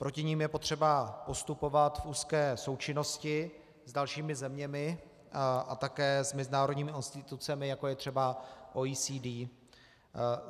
Proti nim je potřeba postupovat v úzké součinnosti s dalšími zeměmi a také s mezinárodními institucemi, jako je třeba OECD.